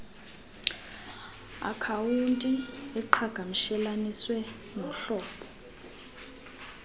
akhawunti eqhagamshelaniswe nohlobo